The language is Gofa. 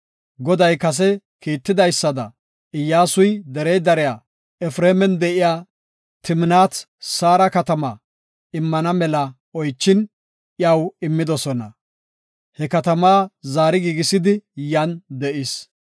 Goday kase kiittidaysada Iyyasuy derey dariya Efreeman de7iya Timnaat-Saara katama immana mela oychin, iyaw immidosona. He katamaa zaari giigisidi, yan de7is.